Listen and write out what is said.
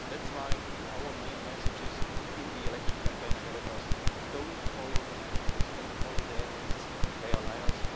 That's why our main message in the election campaign ahead of us is don't follow the nationalists, don't follow the egoists, they are liars.